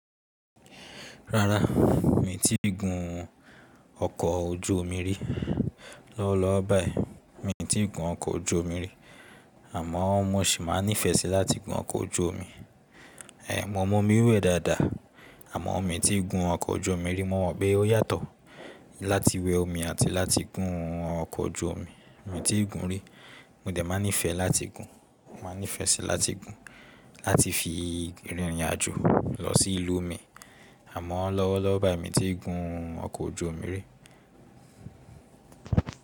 Rárá, mi ò tí ì gun ọkọ̀ ojú omi rí. Lọ́wọ́lọ́wọ́ báyìí mi ò tí ì gun ọkọ̀ ojú omi rí àmọ́ mo sì máa nífẹ̀ẹ́ sí láti gun ọkọ̀ ojú omi. Ẹ̀ mo mọ omi wẹ̀ dáadáa àmọ́ mi ò tí ì gun ọkọ̀ ojú omi rí. Mo mọ̀ pé ó yàtọ̀ láti wẹ omi àti láti gun ọkọ̀ ojú omi. Mi ò tí ì gun rí, mo dẹ̀ máa nífẹ̀ẹ́ láti gun. Mo máa nífẹ̀ẹ́ sí láti gun láti fi rìnrìn àjò lọ sí ìlú mi àmọ́ lọ́wọ́lọ́wọ́ báyìí mi ò tí ì gun ọkọ̀ ojú omi rí.